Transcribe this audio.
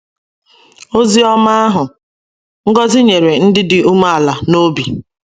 Ozi Ọma Ahụ — Ngọzi nyere Ndị Dị Umeala n’Obi